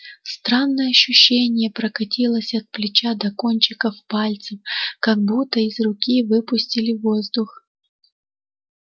странное ощущение прокатилось от плеча до кончиков пальцев как будто из руки выпустили воздух